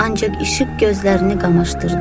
Ancaq işıq gözlərini qamaşdırdı.